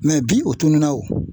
bi o tununna o